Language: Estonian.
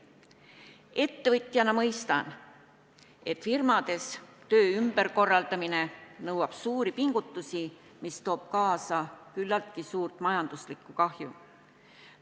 Ettevõtjana mõistan, et firmades töö ümber korraldamine nõuab suuri pingutusi, mis toob kaasa küllaltki suurt majanduslikku kahju.